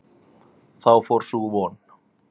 Þá fór sú von!